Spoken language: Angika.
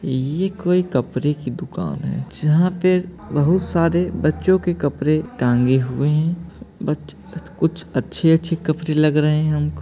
ये कोई कपरे की दुकान है। जहापे बहुत सारे बच्चों के कपड़े टाँगे हुए हैं। बच अच कुछ अच्छे अच्छे कपड़े लग रहे हैं हमको ।